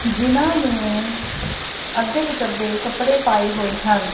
ਜਿਹਨਾਂ ਨੇਂ ਅੱਦੇ ਬਿਚੱਦੇ ਕੱਪੜੇ ਪਾਏ ਹੋਏ ਹਨ।